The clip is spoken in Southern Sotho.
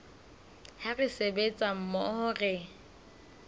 ha re sebetsa mmoho re